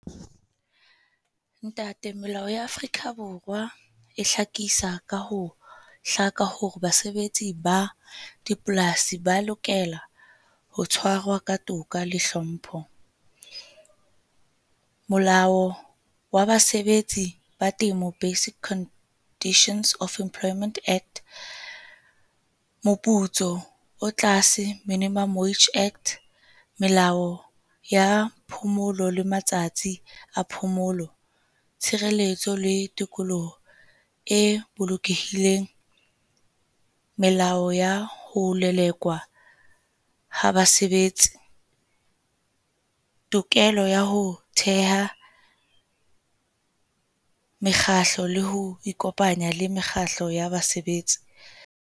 Ntate melao ya Afrika Borwa e hlakisa ka ho hlaka hore basebetsi ba dipolasi ba lokela ho tshwarwa ka toka le hlompho. Molao wa basebetsi ba temo Basic Conditions of Employment Act, moputso o tlase minimum wage act, Melao ya phomolo le matsatsi a phomolo, tshireletso le tikoloho e bolokehileng. Melao ya ho lelekwa ha basebetsi. Tokelo ya ho theha mekgatlo le ho ikopanya le mekgatlo ya basebetsi.